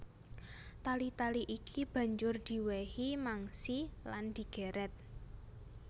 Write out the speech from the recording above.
Tali tali iki banjur diwèhi mangsi lan digèrèt